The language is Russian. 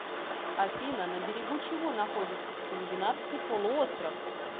афина на берегу чего находится скандинавский полуостров